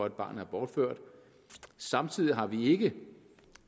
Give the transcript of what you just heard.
et barn er bortført samtidig har vi ikke